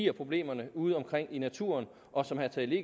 af problemerne udeomkring i naturen og som herre tage